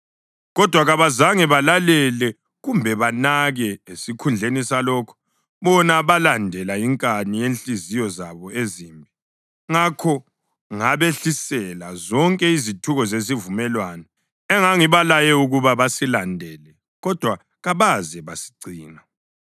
Kodwa kabazange balalele kumbe banake; esikhundleni salokho, bona balandela inkani yezinhliziyo zabo ezimbi. Ngakho ngabehlisela zonke izithuko zesivumelwano engangibalaye ukuba basilandele kodwa kabaze basigcina.’ ”